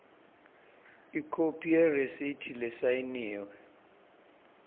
ikhophi yeresithi lesayiniwe